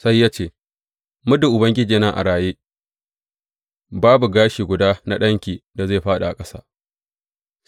Sai ya ce, Muddin Ubangiji yana a raye, babu gashi guda na ɗanki da zai fāɗi ƙasa.